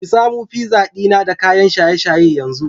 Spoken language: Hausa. ki samu pizza dina da kayan shaye-shaye yanzu